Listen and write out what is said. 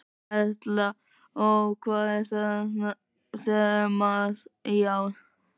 Erla: Og hvað er þemað í ár?